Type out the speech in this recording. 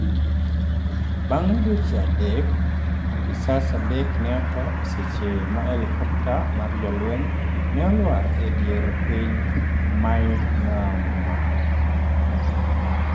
Bang' dweche adek, apisas adek ne otho e seche ma helikopta mar jolweny ne olwar e dier piny Myanmar.